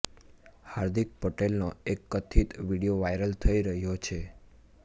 હાર્દિક પટેલનો એક કથિત વીડિયો વાયરલ થઈ રહ્યો છે